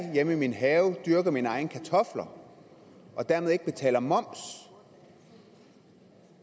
hjemme i min have dyrker mine egne kartofler og dermed ikke betaler moms